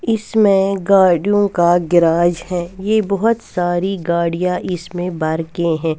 इसमें गाड़ियों का गैराज है ये बहुत सारी गाड़ियाँ इसमें बाइकें है।